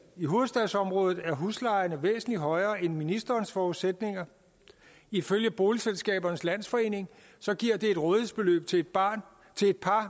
i hovedstadsområdet er huslejerne væsentlig højere end ministerens forudsætninger ifølge boligselskabernes landsforening giver det et rådighedsbeløb til et par